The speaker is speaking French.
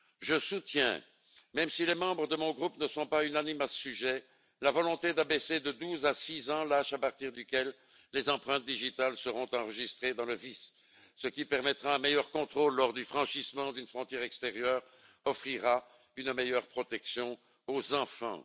Je soutiens, même si ce point ne fait pas l'unanimité au sein de mon groupe, la volonté d'abaisser de 12 à 6 ans l'âge à partir duquel les empreintes digitales seront enregistrées dans le VIS, ce qui permettra un meilleur contrôle lors du franchissement d'une frontière extérieure et offrira une meilleure protection aux enfants.